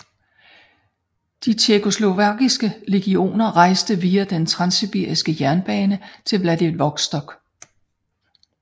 De tjekkoslovakiske legioner rejste via den transsibiriske jernbane til Vladivostok